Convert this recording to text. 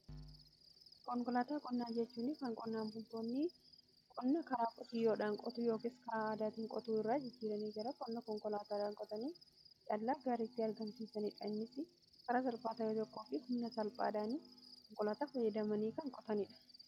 konkolaataa qonnaa jechuun kan qonnaan bultoonni qonna karaa qotiiyoodhaan qotuu yookin karaa aadaatin qotuu irraa jijjiiranii gara qonna konkolaataadhaan qotanii callaa gaarii itti argamsiisaniidha. karaa salphaa yoo ta'u humna salphaadhaan konkolaataa fayyadamanii kan qotaniidha.